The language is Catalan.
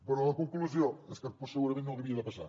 però la conclusió és que doncs segurament no havia de passar